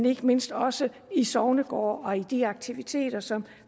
ikke mindst også i sognegårde og i de aktiviteter som